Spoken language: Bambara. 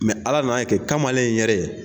ala n'a kɛ kamalen in yɛrɛ ye.